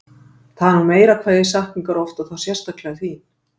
Það er nú meira hvað ég sakna ykkar oft og þá sérstaklega þín